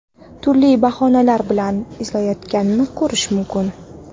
turli bahonalar bilan izohlayotganini ko‘rish mumkin.